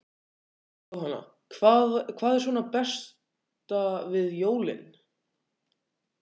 Jóhanna: Hvað er svona besta við jólin?